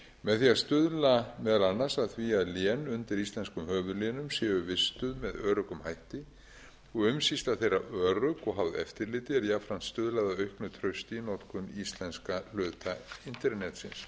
með því að stuðla meðal annars að því að lén undir íslenskum höfuðlénum séu vistuð með öruggum hætti og umsýsla þeirra örugg og háð eftirliti er jafnframt stuðlað að auknu trausti í notkun íslenska hluta internetsins